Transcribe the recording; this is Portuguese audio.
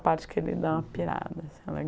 parte que ele dá uma pirada. É